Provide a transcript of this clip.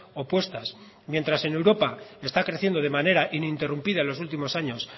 opuestas mientras en europa está creciendo de manera ininterrumpida en los últimos años